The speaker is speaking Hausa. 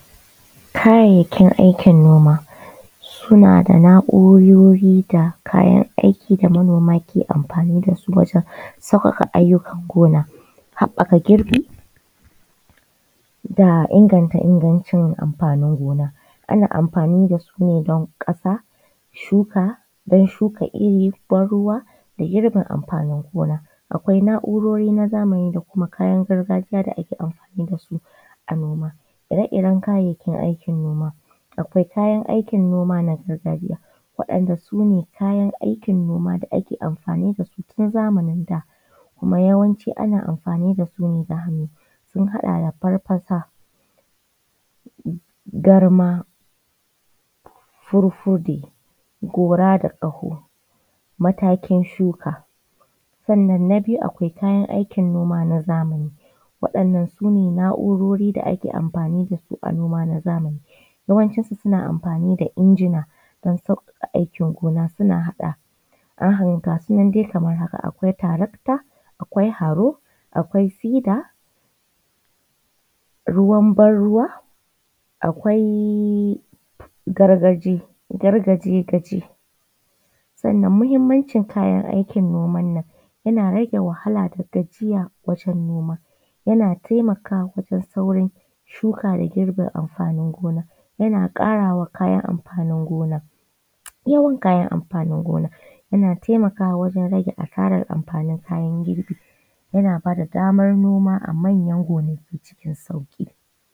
Kayayyakin aikin noma suna da na’urori da kayan aiki da manoma ke amfani da su wajen sauƙaƙa ayyukan gona haɓɓaka girbi da inganta ingancin amfanin gona. Ana amfani da su ne don ƙasa, shuka, don shuka iri, ban ruwa da girbe amfanin gona, akwai na’urori na zamani da kuma kayan gargajiya da ake amdani da su a noma. Ire-iren kayayyakin aikin noma, akwai kayan aikin noma na gargajiya waɗanda sune kayan aikin noma da ake amfani da su tun zamanin da, kuma yawanci ana amfani da su ne da hannu, sun haɗa da farfasa, garma, furfude, gora da ƙaho, matakin shuka. Sannan na biyu akwai kayan aikin noma na zamani, waɗannan sune na’urori da ake amfani da su a noma na zamani, yawancin su suna amfani da injina don sauƙaƙa aikin gona suna haɗa, gasu nan dai kamar haka akwai taracta, akwai haro, akwai sida, ruwan ban ruwa, akwai gargaji, gargajigaje. Sannan muhimmancin kayan aikin noman nan yana rage wahala da gajiya wajen noma, yana taimakawa wajen saurin shuka da girbe amfanin gona, yana ƙarawa kayan amfanin gona yawan kayan amfanin gona, yana taimakawa wajen rage asarar amfanin kayan girbi, yana bada damar noma a manyan gonaki cikin sauƙi.